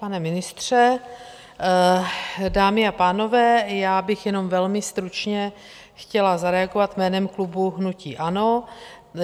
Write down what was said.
Pane ministře, dámy a pánové, já bych jenom velmi stručně chtěla zareagovat jménem klubu hnutí ANO.